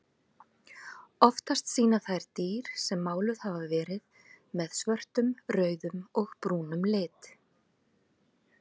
Oftast sýna þær dýr sem máluð hafa verið með svörtum, rauðum og brúnum lit.